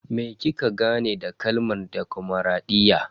Me kika gane da kalmar demokradiyya?